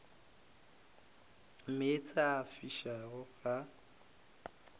meetse a a fišago ga